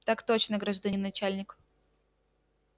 так точно гражданин начальник